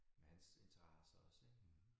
Med hans interesser også ik